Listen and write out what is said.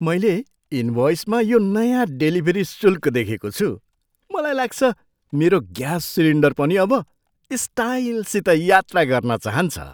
मैले इनभ्वइसमा यो नयाँ डेलिभरी शुल्क देखेको छु। मलाई लाग्छ मेरो ग्यास सिलिन्डर पनि अब स्टाइलसित यात्रा गर्न चाहन्छ!